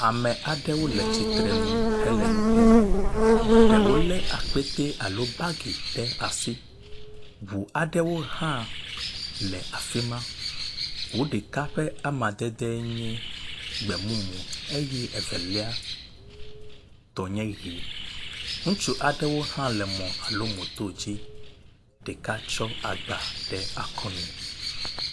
Ame aɖewo le tsitrenu hele nu kpɔm. Ɖewo le akpetɛ alo bagi ɖe asi. Ŋu aɖewo hã le afi ma. Ŋu ɖeka ƒe amadede nye gbemumu eye Evelia tɔ nye ʋi. Ŋutsu aɖewo hã le mɔ alo moto dzi, ɖeka tsɔ agba ɖe akɔnu.